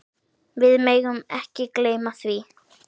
Við megum ekki gleyma því.